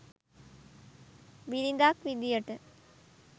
බිරිඳක් විදියට.